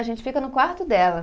A gente fica no quarto dela.